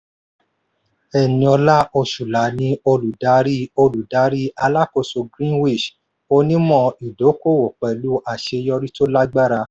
eniola osula ni olùdarí olùdarí alákóso greenwich onímọ̀ ìdókòwò pẹ̀lú àṣeyọrí tó lágbára.